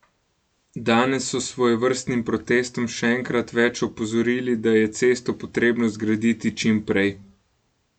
Danes so s svojevrstnim protestom še enkrat več opozorili, da je cesto potrebno zgraditi čim prej.